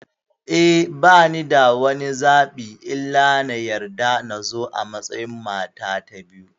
Eh, banida wani zaɓi illa na yarda nazo a matsayin mata ta biyu.